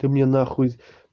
ты мне нахуй